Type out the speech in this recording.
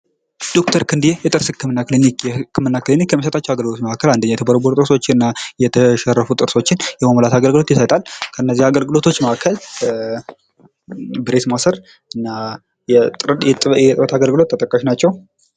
ዶ/ር ክንዴ የጥርስ ህክምና ክሊኒክ ይህ የህክምና ክሊኒክ የሚሰጣቸዉ አገልግሎቶች መካከል የተቦረቦሩ ጥርሶችን እና የተሸረፉ ጥርሶችን የመሙላት አገልግሎት ይሰጣል። ብሬስ ማሰር እና የእጥበት አገልግሎት ተጠቃሽ ናቸዉ።